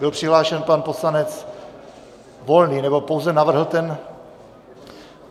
Byl přihlášen pan poslanec Volný, nebo pouze navrhl ten...